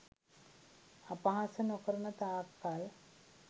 අපහාස නොකරන තාක් කල්